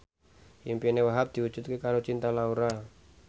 impine Wahhab diwujudke karo Cinta Laura